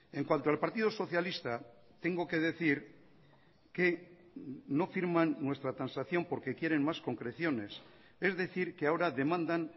en cuanto al partido socialista tengo que decir que no firman nuestra transacción porque quieren más concreciones es decir que ahora demandan